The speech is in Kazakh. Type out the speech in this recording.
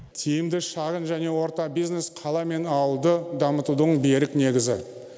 тиімді шағын және орта бизнес қала мен ауылды дамытудың берік негізі